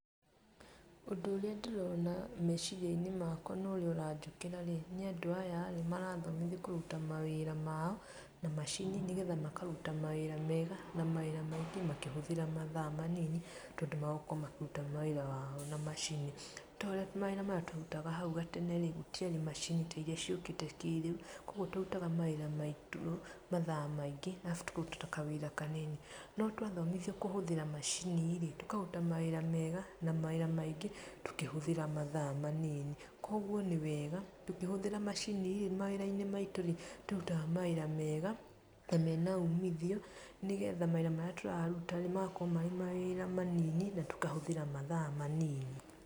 Ũndũ ũrĩa ndĩrona meciria-inĩ makwa na ũrĩa ũranjũkĩraĩ, nĩ andũ aya marathomithio kũrũta mawira mao, na machini nĩ getha makaruta mawĩra mega, na mawira maingĩ makĩhĩtũra mathaa manini, tondũ megũkorwo makĩruta mawĩra mao na machini. Nĩ taũrĩa mawĩra maya twarutaga hau gatene, gũtiarĩ machin ta iria ciũkĩte kĩriu, koguo twarutaga mawira maitũ mathaa maingĩ arafu tukaruta kawĩra kanini. No twathomithio kũhũthĩra machini-rĩ, tũkaruta mawira mega, na mawira maingĩ, tũkĩhũthĩra mathaa manini. Koguo nĩ wega, tũkĩhũthĩra machini ,mawira-inĩ maitũ nĩ tũrutaga mawĩra mega ,na mena umithio nĩ getha mawira marĩa tũraruta-rĩ, magakorwo marĩ mawira manini na tũgakorwo tũkĩhũthĩra mathaa manini.